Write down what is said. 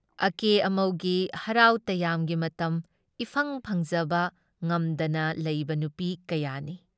ꯑꯀꯦ ꯑꯃꯧꯒꯤ ꯍꯔꯥꯎ ꯇꯌꯥꯝꯒꯤ ꯃꯇꯝ ꯏꯐꯪ ꯐꯪꯖꯕ ꯉꯝꯗꯅ ꯂꯩꯕ ꯅꯨꯄꯤ ꯀꯌꯥꯅꯤ ꯫